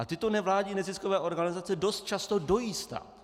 A tyto nevládní neziskové organizace dost často dojí stát.